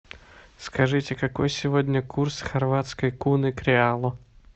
скажите какой сегодня курс хорватской куны к реалу